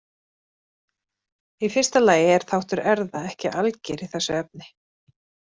Í fyrsta lagi er þáttur erfða ekki alger í þessu efni.